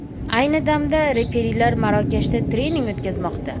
Ayni damda referilar Marokashda trening o‘tkazmoqda.